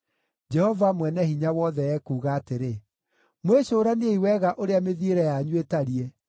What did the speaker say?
Jehova Mwene-Hinya-Wothe ekuuga atĩrĩ, “Mwĩcũraniei wega ũrĩa mĩthiĩre yanyu ĩtariĩ.